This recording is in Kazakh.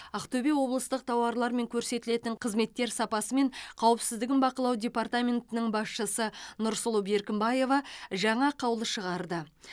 ақтөбе облыстық тауарлар мен көрсетілетін қызметтер сапасы мен қауіпсіздігін бақылау департаментінің басшысы нұрсұлу беркімбаева жаңа қаулы шығарды